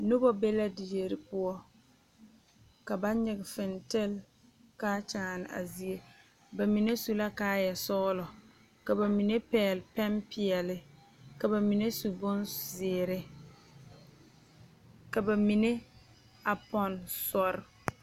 Noba be la die poɔ ka ba nyige fentili kaa kyaane a zie ba mine su la kaayɛ sɔgelɔ ka ba mine pɛgele pɛne peɛle ka ba mine su bonzeere ka ba mine a pɔnne soɔrŋ